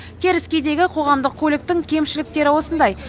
теріскейдегі қоғамдық көліктің кемшіліктері осындай